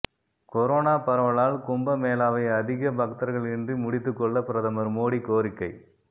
corona பரவலால் கும்பமேளாவை அதிக பக்தர்களின்றி முடித்துக் கொள்ள பிரதமர் மோடி கோரிக்கை